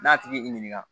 N'a tigi y'i ɲininka